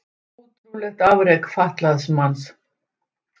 Ótrúlegt afrek fatlaðs manns